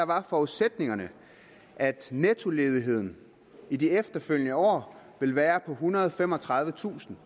var forudsætningerne at nettoledigheden i de efterfølgende år ville være på ethundrede og femogtredivetusind